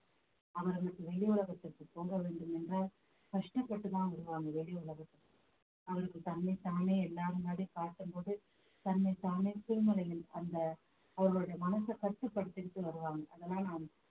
அவர்களுக்கு வெளி உலகத்திற்கு போக வேண்டும் என்ற கஷ்டப்பட்டு தான் வருவாங்க வெளி உலகத்துக்கு அவர்கள் தன்னைத்தானே எல்லார் முன்னாடியும் காட்டும்போது தன்னைத்தானே திருமலையில் அந்த அவர்களுடைய மனச கட்டுப்படுத்திக்கிட்டு வருவாங்க அதனால